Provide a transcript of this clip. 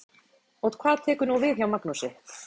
Og hvað tekur nú við hjá Magnúsi?